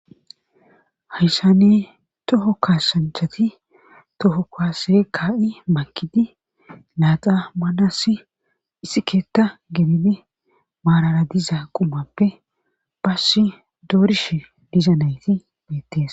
hayssanne toho kaasanchati toho kaase ka7i makidi naaxa manassi issi keetta gebine maarara diza qumappe bass doorish dizanayti deettees